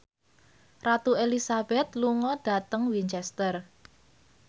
Ratu Elizabeth lunga dhateng Winchester